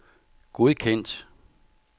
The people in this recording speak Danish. godkendt